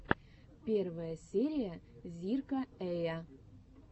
первая серия зирка эя